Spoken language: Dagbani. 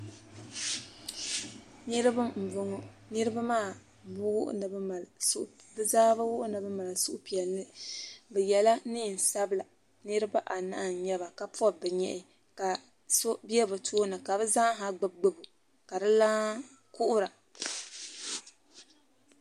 Niribi n bɔŋɔ, niribi maa bɛ zaa bɛ wuhi nini mali suhupiɛli. bɛ yela neen' sabila. niribi a nahi n nyɛba. ka pɔbi bɛ nyɛhi. kaso bɛ bɛ tooni ka bɛ zaa gbubi gbubi , ka dilana kuhira.